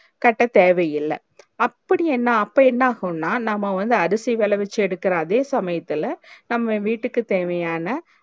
கட்ட தேவயில்ல அப்டி என்ன அப்போ என்ன ஆகுன்னா நம்ம வந்து அருசிகள வச்சி எடுக்குற அதே சமயத்துள்ள நம்ம வீட்டுக்கு தேவையான